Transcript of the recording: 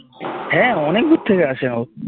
হ্যাঁ অনেক দূর থেকে আসে সব